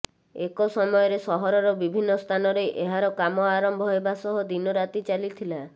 ଏକ ସମୟରେ ସହରର ବିଭିନ୍ନ ସ୍ଥାନରେ ଏହାର କାମ ଆରମ୍ଭ ହେବା ସହ ଦିନରାତି ଚାଲିଥିଲା